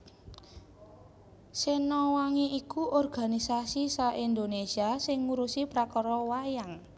Sena Wangi iku organisasi sa Indonesia sing ngurusi prakara wayang